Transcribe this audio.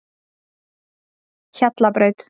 Hjallabraut